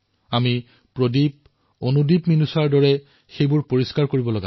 আমি প্ৰদীপ আৰু মীনুষাৰ দৰে চাফাই অভিযান চলাব লাগে